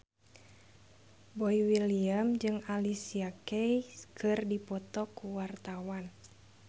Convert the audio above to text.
Boy William jeung Alicia Keys keur dipoto ku wartawan